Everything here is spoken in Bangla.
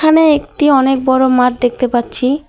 এখানে একটি অনেক বড় মাঠ পাচ্ছি।